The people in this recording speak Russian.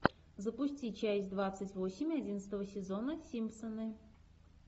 запусти часть двадцать восемь одиннадцатого сезона симпсоны